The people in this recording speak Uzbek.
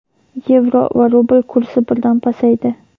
yevro va rubl kursi birdan pasaydi.